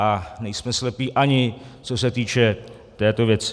A nejsme slepí, ani co se týče této věci.